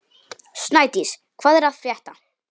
Snædís, hvað er að frétta?